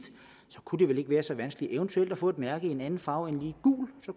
kunne det vel ikke være så vanskeligt eventuelt at få et mærke i en anden farve end lige